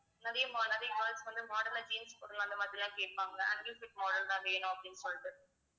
நிறைய நிறைய girls வந்து model ஆ jeans போடலாம் அந்த மாதிரி எல்லாம் கேப்பாங்க ankle fit model தான் வேணும் அப்படின்னு சொல்லிட்டு